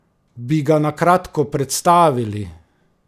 Bi ga na kratko predstavili?